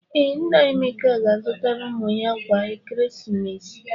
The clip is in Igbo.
Ee, nna Emeka ga-azụtara ụmụ ya akwa ekeresimesi.